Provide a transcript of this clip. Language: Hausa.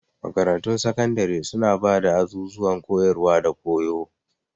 Makarantun sakandare suna ba da azuzuwan koyarwa da koyo.